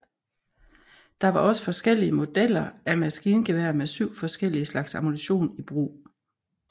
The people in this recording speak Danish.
Der var også forskellige modeller af maskingeværer med syv forskellige slags ammunition i brug